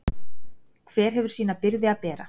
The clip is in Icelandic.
Hver hefur sína byrði að bera.